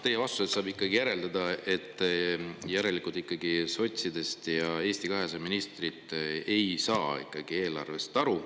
Teie vastusest saab järeldada, et järelikult ikkagi sotside ja Eesti 200 ministrid ei saa eelarvest aru.